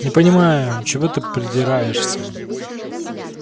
не понимаю чего ты придираешься